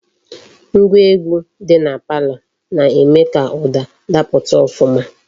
Ngwa egwu di na palo na-eme ka uda daputa ofuma.